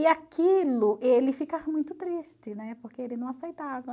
E aquilo, ele ficava muito triste, né, porque ele não aceitava.